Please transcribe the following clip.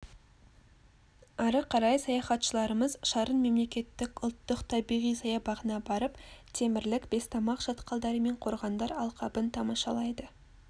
ары қарай саяхатшыларымыз шарын мемлекеттік ұлттық табиғи саябағына барып темірлік бестамақ шатқалдары мен қорғандар алқабын тамашалайды